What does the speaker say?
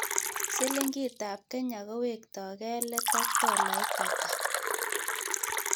Sliingitap Kenya kowekto gee let ak tolait ata